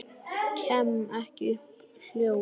Kem ekki upp hljóði.